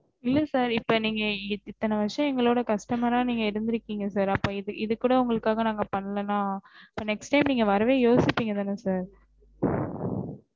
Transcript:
இல்ல sir இப்ப வந்து நீங்க இந்தன வருஷம்மா எங்களோ customer ஆஹ் இருந்துருகிங்க sir இப்ப இத கூட நாங்க உங்களுக்காக பண்ணலன next time நீங்க வரவே யோசிபிங்கதன sir